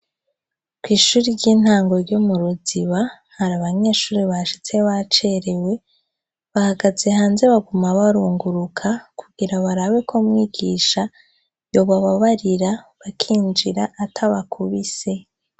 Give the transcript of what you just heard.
Kw'ishuri ry'intango ryo mu Ruziba, hari abanyeshure bashitse bacerewe, bahagaze hanze baguma barunguruka kugira barabe ko mwigisha yobababarira bakinjira atabakubise.